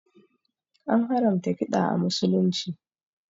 An haramta kiɗa a musulunci